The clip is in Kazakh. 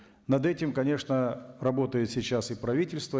над этим конечно работает сейчас и правительство